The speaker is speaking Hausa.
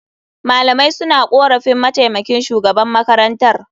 Malamai suna korafin mataimakin shugaban makarantar.